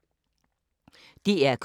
DR K